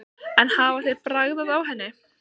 En hafa þeir bragðað á henni?